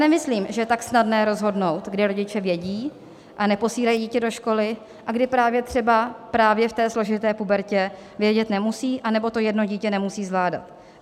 Nemyslím, že je tak snadné rozhodnout, kdy rodiče vědí a neposílají dítě do školy, a kdy právě třeba v té složité pubertě vědět nemusí, anebo to jedno dítě nemusí zvládat.